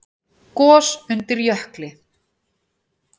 Gos undir jökli